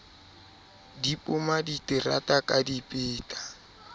di poma diterata ka dipeta